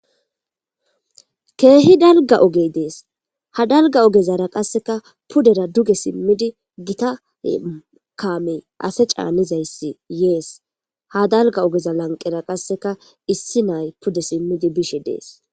Kehi daligga ogeyi de'es,haa daligga ogezara qasekka pudera duge simidi Gita kameyi ase caanizayissi yees.haa daligga ogeza laniqera qasekka issi nayi pude simidi be'ishshe dees.